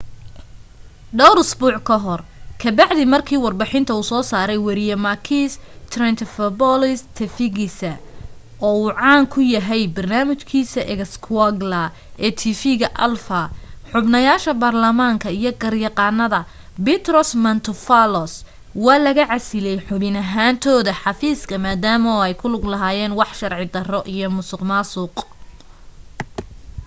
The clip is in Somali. dhowr usbuuc ka hor ka bacdi marki warbixinta uu soo saray wariye makis triantafylopoulos tifigisa uu caan ka ku yahay barnaamij kiisa xougla ee tv ga alpha xubnayasha barlamaanka iyo garyaqanada petros mantouvalos waa laga casiley xubin ahantooda xafiiska madama ay ku lug lahayeen wax sharci daro iyo musuq maasuq